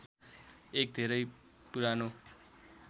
एक धेरै पुरानो